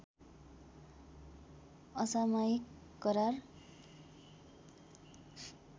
असामयिक करार